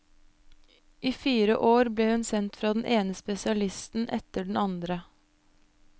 I fire år ble hun sendt fra den ene spesialisten etter den andre.